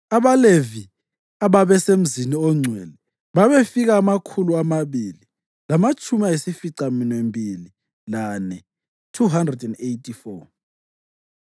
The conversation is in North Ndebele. AbaLevi ababesemzini ongcwele babefika amakhulu amabili lamatshumi ayisificaminwembili lane (284).